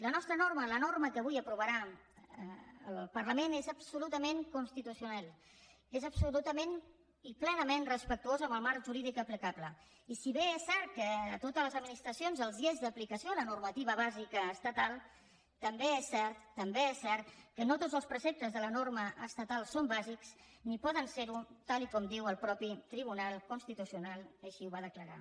la nostra norma la norma que avui aprovarà el parlament és absolutament constitucional és absolutament i plenament respectuosa amb el marc jurídic aplicable i si bé és cert que a totes les administracions els és d’aplicació la normativa bàsica estatal també és cert també és cert que no tots els preceptes de la norma estatal són bàsics ni poden serho tal com diu el mateix tribunal constitucional que així ho va declarar